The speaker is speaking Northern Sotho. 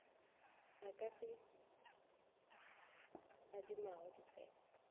a ka se adimago ditsebe